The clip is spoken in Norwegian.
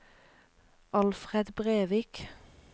Alfred Brevik